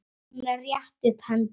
Hún rétti upp hendur.